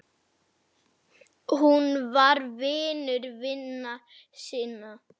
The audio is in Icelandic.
Hún var vinur vina sinna.